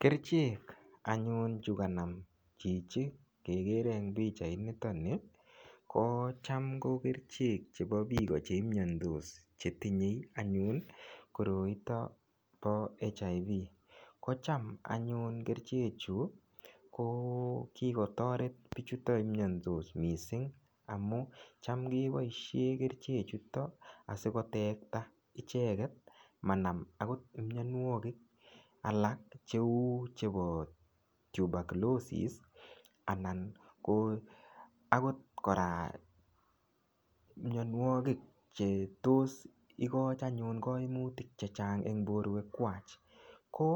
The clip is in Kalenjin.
Kerchek anyun chu kanam chichi kegere en pichait ni ko cham ko kerchek chebo piik chimnyantos chetinye anyun koroiton po HIV, ko cham anyun kerchechu ko kikotoret pichuto imnyandos mising amun cham keboishen kerchechuto asikotekta icheget manam akot mionwokik alak cheu chebo tuberculosis anan ko akot kora mionwokik chetos ikoch anyun koimutik chechang eng porwek kwach ko